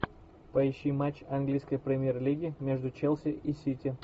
поищи матч английской премьер лиги между челси и сити